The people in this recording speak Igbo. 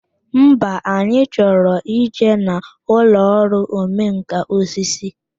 Mba, anyị chọrọ ịje n'ụlọ ọrụ omenkà osisi